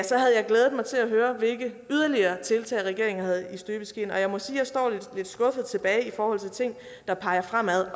så havde jeg glædet mig til at høre hvilke yderligere tiltag regeringen havde i støbeskeen og jeg må sige at jeg står lidt skuffet tilbage i forhold til ting der peger fremad